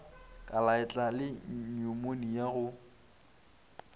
ka leatla le nyumonia go